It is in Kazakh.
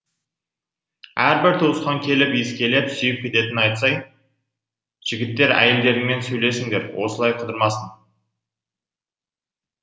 әрбір туысқан келіп иіскелеп сүйіп кететінін айтсай жігіттер әйелдеріңмен сөйлесіңдер осылай қыдырмасын